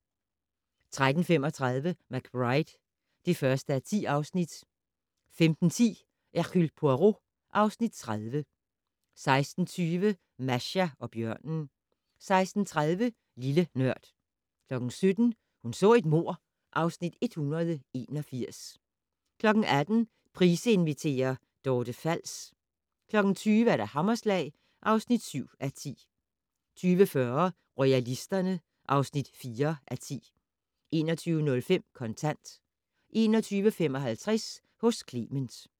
13:35: McBride (1:10) 15:10: Hercule Poirot (Afs. 30) 16:20: Masha og bjørnen 16:30: Lille Nørd 17:00: Hun så et mord (Afs. 181) 18:00: Price inviterer - Dorte Fals 20:00: Hammerslag (7:10) 20:40: Royalisterne (4:10) 21:05: Kontant 21:55: Hos Clement